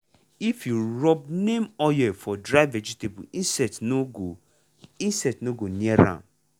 if you rub neem oil for dry vegetables insect no go insect no go near am.